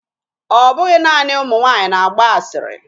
Ọ bụghị naanị ụmụ nwaanyị na-agba asịrị